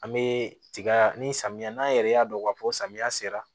An be tiga ni samiya n'an yɛrɛ y'a dɔn k'a fɔ samiya sera